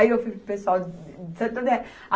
Aí eu fui para o pessoal de Santo André. A